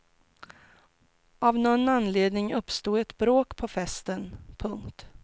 Av någon anledning uppstod ett bråk på festen. punkt